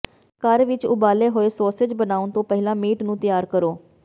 ਘਰ ਵਿਚ ਉਬਾਲੇ ਹੋਏ ਸੌਸੇਜ਼ ਬਣਾਉਣ ਤੋਂ ਪਹਿਲਾਂ ਮੀਟ ਨੂੰ ਤਿਆਰ ਕਰੋ